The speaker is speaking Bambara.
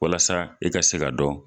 Walasa i ka se ka dɔn.